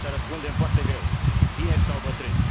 întrebarea asta răspundem foarte greu, tineri dau bătrâni.